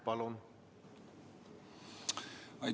Palun!